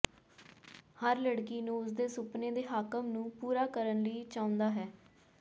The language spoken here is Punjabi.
ਹਰ ਲੜਕੀ ਨੂੰ ਉਸ ਦੇ ਸੁਪਨੇ ਦੇ ਹਾਕਮ ਨੂੰ ਪੂਰਾ ਕਰਨ ਲਈ ਚਾਹੁੰਦਾ ਹੈ